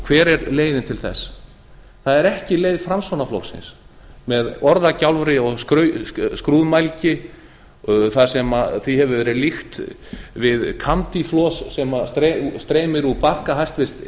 hver er leiðin til þess það er ekki leið framsóknarflokksins með orðagjálfri og skrúðmælgi þar sem því hefur verið líkt við kandilos sem streymir úr barka hæstvirtur